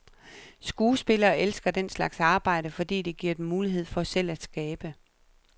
Skuespillere elsker den slags arbejde, fordi det giver dem mulighed for selv at skabe.